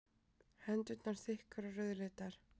Hendurnar þykkar og rauðleitar.